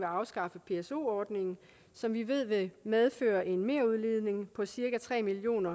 afskaffe pso ordningen som vi ved vil medføre en merudledning på cirka tre million